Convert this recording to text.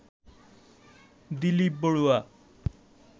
Dilip Barua